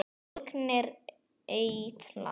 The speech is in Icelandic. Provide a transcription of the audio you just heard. Bólgnir eitlar